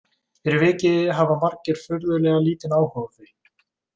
Fyrir vikið hafa margir furðulega lítinn áhuga á því.